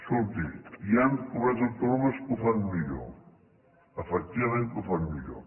escolti hi han comunitats autònomes que ho fan millor efectivament que ho fan millor